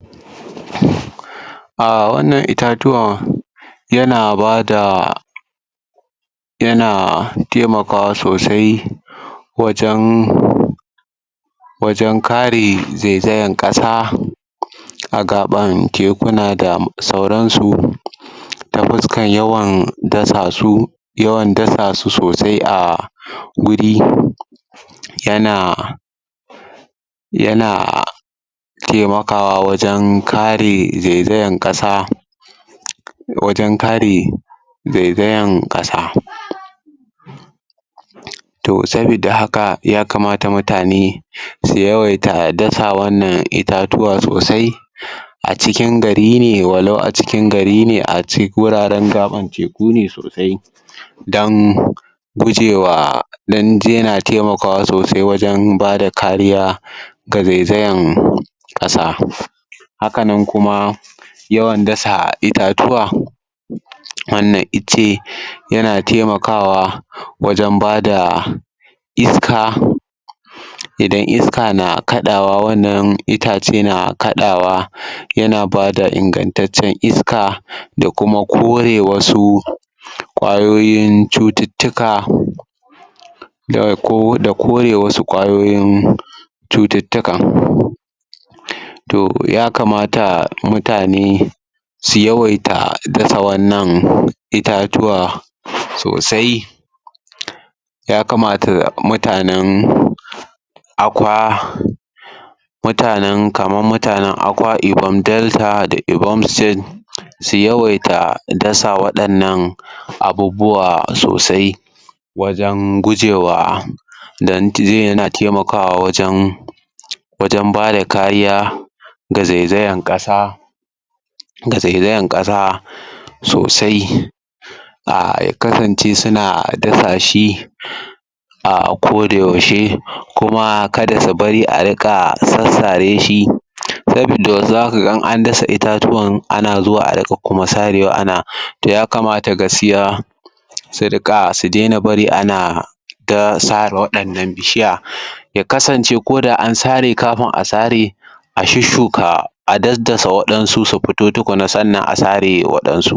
um wannan itatuwa yana bada yana taimakawa sosai wajan wajen kare zaizayan ƙasa a gaɓan tekuna da sauransu ta fuskan yawan dasa su yawan dasu sosai a guri yana! yana taimakawa wajen kare zaizayan ƙasa wajan kare zaizayan ƙasa toh sabida haka yakamata mutane su yawaita dasa wannan itatuwa sosai a cikin gari ne walau acikin gari ne a guraren gaɓar teku kune sosai dan gujewa dan yana taimakawa sosai wajen bada kariya ga zaizayan ƙasa haka nan kuma yawan dasa itatuwa wannan icce yana taimakawa wajan bada iska idan iska na kaɗawa wannan itace na kaɗawa yana bada ingan taccen iska da kuma kore wasu ƙwayoyin cututtuka da ko da kore wasu ƙwayoyin cututtuka um toh ya kamata mutane su yawaita dasa wannan itatuwa sosai ya kamata mutanan akwa mutanan kaman mutanan akwa-ibon delta da ibomsen su yawaita dasa waɗannan abubuwa sosai wajan gujewa dan yana taimakawa wajan wajan bada kariya ga zaizayan ƙasa ga zaizayan ƙasa um sosai um ya kasance suna dasa shi a koda yaushe kuma kada su bari ariƙa sassare shi sabida zaka ga in an dasa itatuwan ana zuwa a riƙa kuma sarewa ana toh ya kamata gaskiya su riƙa su daina bari ana ta sare waɗannan bishiya ya kasance koda an sare kafin a sare a shushshuka a daddasa waɗansu su futo tukunna sannan a sare waɗan su.